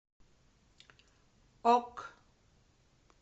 ок